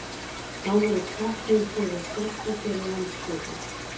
Þá voru teknir fyrir sérstakir landshlutar.